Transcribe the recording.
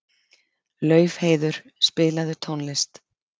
Laufheiður, spilaðu tónlist.